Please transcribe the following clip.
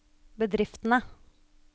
bedriftene